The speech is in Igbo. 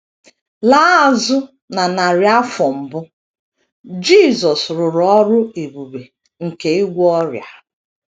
Laa azụ na narị afọ mbụ, Jisọs rụrụ ọrụ ebube nke ịgwọ ọrịa.